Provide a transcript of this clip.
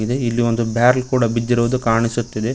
ಇಲ್ಲಿ ಒಂದು ಬ್ಯಾರಲ್ ಕೂಡ ಬಿದ್ದಿರುವುದು ಕಾಣಿಸುತ್ತಿದೆ.